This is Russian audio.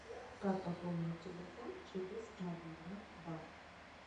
как пополнить телефон через мобильный банк